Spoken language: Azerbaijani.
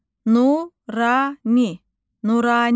Nurani, Nurani.